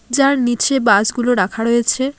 যার নীচে বাস -গুলো রাখা রয়েছে।